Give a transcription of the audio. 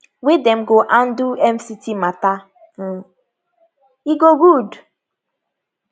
wey dem go handle fct mata um e go good